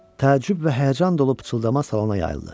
Təəccüb və həyəcan dolu pıçıltı salona yayıldı.